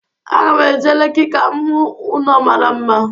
Aga m eje Leki ka m hụ ụnọ mara mma.